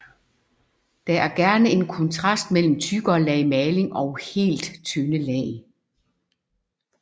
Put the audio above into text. Der er gerne en kontrast mellem tykkere lag maling og helt tynde lag